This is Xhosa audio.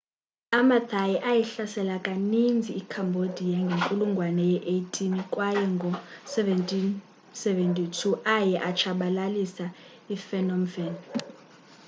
amathai ayihlasela kaninzi icambodia ngenkulungwane ye18 kway ngo-1772 aye atshabalilisa iphnom phen